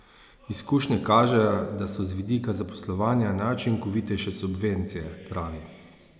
Izkušnje kažejo, da so z vidika zaposlovanja najučinkovitejše subvencije, pravi.